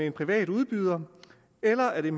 en privat udbyder eller er